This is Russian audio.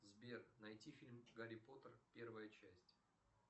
сбер найти фильм гарри поттер первая часть